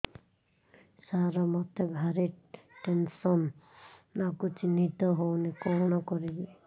ସାର ମତେ ଭାରି ଟେନ୍ସନ୍ ଲାଗୁଚି ନିଦ ହଉନି କଣ କରିବି